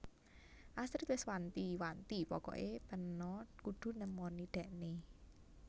Astrid wes wanti wanti pokok e peno kudu nemoni dhekne